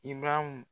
Ibaraham